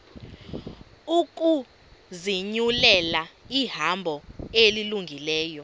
ukuzinyulela ihambo elungileyo